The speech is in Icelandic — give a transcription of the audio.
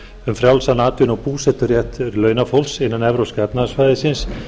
um frjálsan atvinnu og búseturétt launafólks innan evrópska efnahagssvæðisins